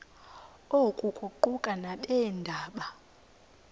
oku kuquka nabeendaba